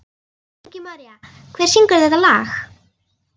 Ingimaría, hver syngur þetta lag?